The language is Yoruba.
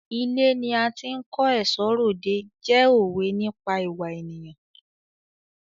Ilé ni a ti ń kó ẹ̀ṣọ́ r'òde jẹ́ òwe nípa ìwà ènìyàn.